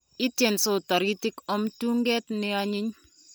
Itiensot toritik om tuge nionyiny.